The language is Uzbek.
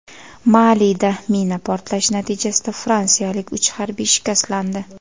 Malida mina portlashi natijasida fransiyalik uch harbiy shikastlandi.